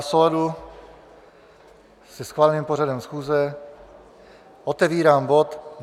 V souladu se schváleným pořadem schůze otevírám bod